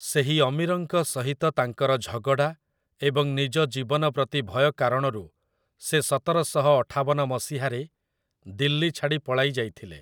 ସେହି ଅମିରଙ୍କ ସହିତ ତାଙ୍କର ଝଗଡ଼ା ଏବଂ ନିଜ ଜୀବନ ପ୍ରତି ଭୟ କାରଣରୁ ସେ ସତରଶହ ଅଠାବନ ମସିହାରେ ଦିଲ୍ଲୀ ଛାଡ଼ି ପଳାଇ ଯାଇଥିଲେ ।